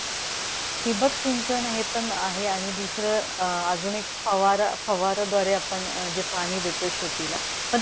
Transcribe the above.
ठिबक सिंचन हे पण आहे आणि दुसरं अं अजून एक फवार फवाराद्वारे आपण अं जे पाणी देतो शेतीला.